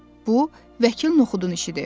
Bu Vəkil Noxudun işidir.